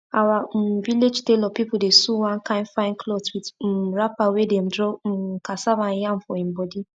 our um village tailor pipo dey sew one kind fine clothes with um wrapper wey dem draw um cassava and yam for im body